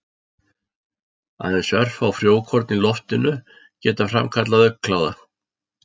Aðeins örfá frjókorn í loftinu geta framkallað augnkláða.